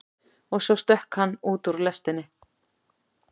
Og svo stökk hann út úr lestinni.